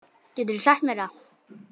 Geturðu sagt mér það?